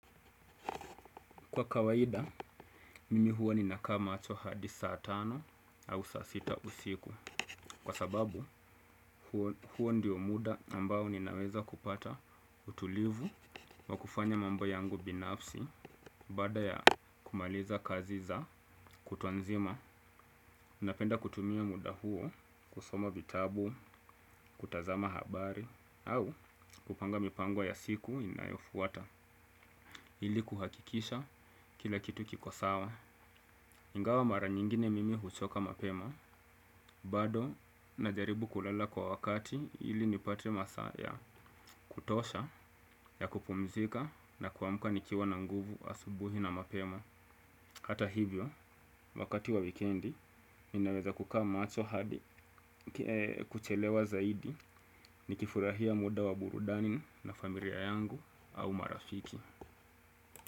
Kwa kawaida, mimi huwa ninakaa macho hadi saa tano au saa sita usiku. Kwa sababu, huo ndio muda ambao ninaweza kupata utulivu wa kufanya mambo yangu binafsi baada ya kumaliza kazi za kutwa nzima. Napenda kutumia muda huo, kusoma vitabu, kutazama habari, au kupanga mipango ya siku inayofuata. Ili kuhakikisha kila kitu kiko sawa. Ingawa mara nyingine mimi huchoka mapema, bado na jaribu kulala kwa wakati ili nipate masaa ya kutosha ya kupumzika na kuamka nikiwa na nguvu asubuhi na mapema. Hata hivyo, wakati wa wikendi, ninaweza kukaa macho hadi kuchelewa zaidi nikifurahia muda wa burudani na familia yangu au marafiki.